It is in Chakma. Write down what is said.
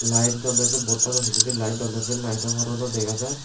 light Dunne say bordtano pije light Dunne say light porano dega jai.